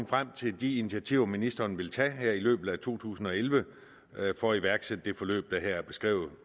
frem til de initiativer ministeren vil tage her i løbet af to tusind og elleve for at iværksætte det forløb der her er beskrevet